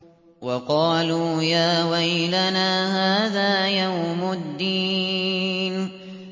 وَقَالُوا يَا وَيْلَنَا هَٰذَا يَوْمُ الدِّينِ